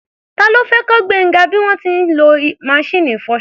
Ta ló fẹ́ kọ́ Gbénga bí wọ́n ṣe ń lo maṣíìnì ìfọṣọ?